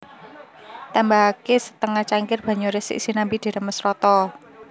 Tambahaké setengah cangkir banyu resik sinambi diremes rata